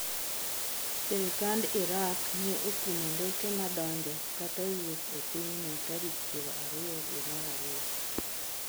sirikand Irak ne okumo ndeke madonjo kata wuok e piny no tarik piero ariyo dwe mar ariyo